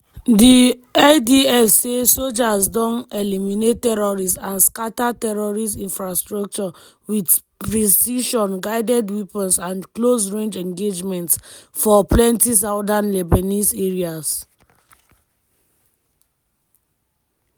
di idf say sojas don “eliminate terrorists and scata terrorist infrastructure wit precision-guided weapons and close-range engagements” for plenti southern lebanese areas.